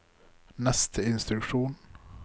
neste instruksjon